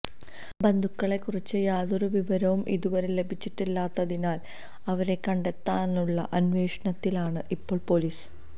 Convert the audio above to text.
ബന്ധുക്കളെ കുറിച്ച് യാതൊരു വിവരവും ഇതുവരെ ലഭിച്ചിട്ടില്ലാത്തതിനാല് അവരെ കണ്ടെത്താനുള്ള അന്വേഷണത്തിലാണ് ഇപ്പോള് പൊലീസ്